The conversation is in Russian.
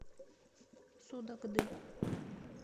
судогды